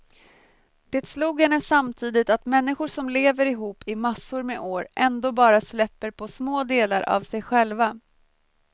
Det slog henne samtidigt att människor som lever ihop i massor med år ändå bara släpper på små delar av sig själva.